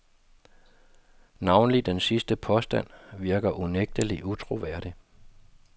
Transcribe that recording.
Navnlig den sidste påstand virker unægtelig utroværdig.